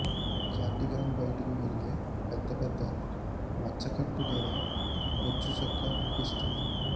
Cardigan బయటకు వెళ్ళే పెద్ద పెద్ద మచ్చ కట్టు లేదా బొచ్చు చొక్కా కనిపిస్తోంది